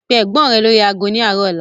Pe Ẹ̀gbọ́n rẹ lórí ago ni arọ ọ̀la!